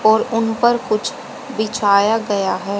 और उन पर कुछ बिछाया गया है।